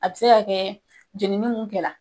A be se ka kɛ jenini mun kɛla